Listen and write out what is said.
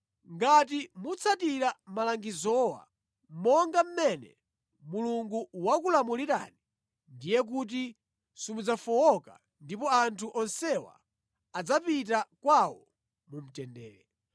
Ngati mutsatira malangizowa monga mmene Mulungu wakulamulirani ndiye kuti simudzafowoka ndipo anthu onsewa adzapita kwawo mu mtendere.”